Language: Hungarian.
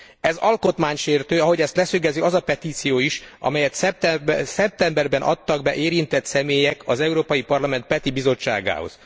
Ez alkotmánysértő, ahogy ezt leszögezi az a petíció is, amelyet szeptemberben adtak be érintett személyek az Európai Parlament PETI bizottságához.